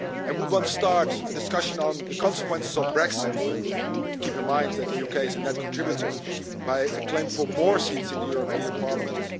Should one start a discussion on the consequences of Brexit, keeping in mind that the UK is a net contributor, with a claim for more seats in the European Parliament?